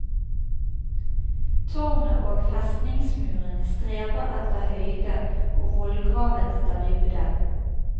Tårnet og festningsmurene streber etter høyde og vollgraven etter dybde.